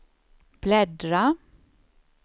bläddra